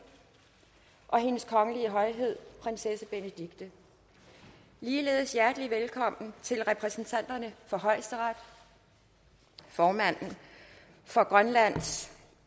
og til hendes kongelige højhed prinsesse benedikte ligeledes hjertelig velkommen til repræsentanterne for højesteret formanden for grønlands